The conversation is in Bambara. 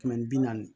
Kɛmɛ ni bi naani